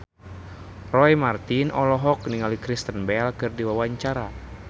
Roy Marten olohok ningali Kristen Bell keur diwawancara